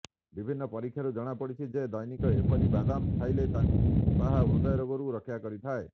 ବିଭିନ୍ନ ପରୀକ୍ଷାରୁ ଜଣାପଡ଼ିିଛି ଯେ ଦୈନିକ ଏହିପରି ବାଦାମ ଖାଇଲେ ତାହା ହୃଦ୍ରୋଗରୁ ରକ୍ଷା କରିଥାଏ